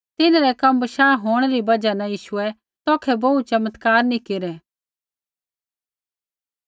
तिन्हरै कम बशाह होंणै री बजहा न यीशुऐ तौखै बोहू चमत्कार नी केरै